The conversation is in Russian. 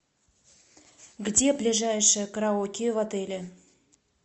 где ближайшее караоке в отеле